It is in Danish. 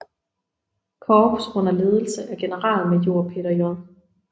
Korps under ledelse af generalmajor Peter J